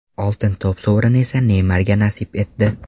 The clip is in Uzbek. Oltin to‘p sovrini esa Neymarga nasib etdi.